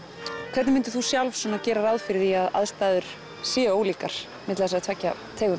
hvernig mundir þú sjálf gera ráð fyrir því að aðstæður séu ólíkar milli þessara tveggja tegunda